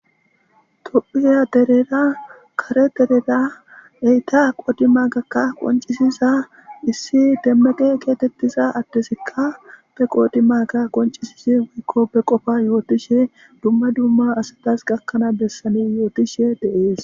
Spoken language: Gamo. Tophiya derera kare derera eyta qoodi ma gakka qoncisiza issi demmeqe keetettiza addesikka be qoodi maga qoncisisi wikko be qofa yootishe dumma dumma asadas gakkanaa bessani yootishe deees